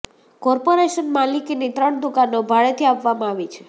corporation માલિકીની ત્રણ દુકાનો ભાડેથી આપવામાં આવી છે